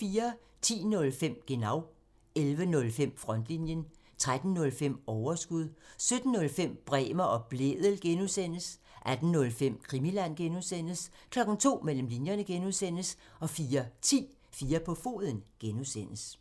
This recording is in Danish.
10:05: Genau (tir) 11:05: Frontlinjen (tir) 13:05: Overskud (tir) 17:05: Bremer og Blædel (G) (tir) 18:05: Krimiland (G) (tir) 02:00: Mellem linjerne (G) (tir) 04:10: 4 på foden (G) (tir)